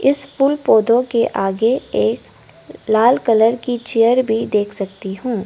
इस फूल पौधों के आगे एक लाल कलर की चेयर भी देख सकती हूं।